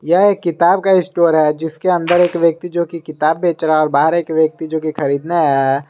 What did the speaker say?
यह एक किताब का स्टोर है जिसके अंदर एक व्यक्ति जो की किताब बेच रहा है और बाहर एक व्यक्ति जोकि खरीदने आया है।